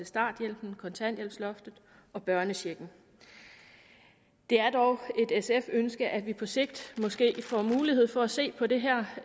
starthjælpen kontanthjælpsloftet og børnechecken det er dog et sf ønske at vi på sigt måske får mulighed for at se på det her